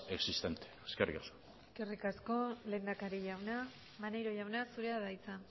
existente eskerrik asko eskerrik asko lehendakari jauna maneiro jauna zurea da hitza